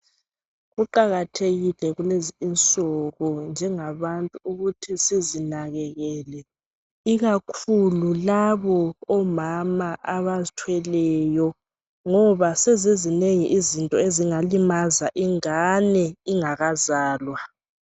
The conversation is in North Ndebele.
Kuqakathekile kulezi insuku njengabantu ukuthi sizinakekele ikakhulu labo amama abazithweleyo ngoba sezizinengi izinto ezingalimaza ingane ingakazalwa.